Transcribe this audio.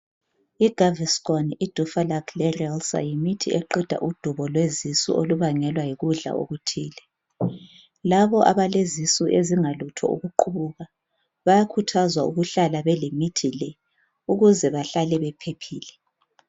IGaviscon iDuphalac leRelcer yimithi eqeda udubo lwezisu olubangelwa yikudla okuthile labo abalezisu ezingalutho ukuqubuka bayakhuthazwa ukuhlala belemithi le ukuze bahlale bephephile.